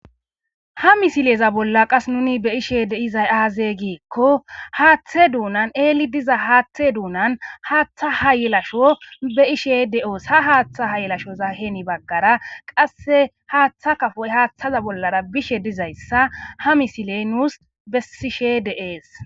Ha misileza bolla qas nuni be ishe deizay aaze giikko haaththe duunan eeli diza haaththe duunan haaththa hayelasho be ishe de7oos ha haaththa hayelashoza heeni baggara qasse haaththa kafoy haaththaza bollara bishe dizayssa ha misiley nuus bessishe de7ees.